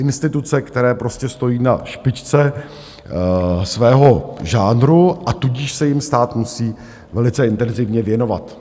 Instituce, které prostě stojí na špičce svého žánru, a tudíž se jim stát musí velice intenzivně věnovat.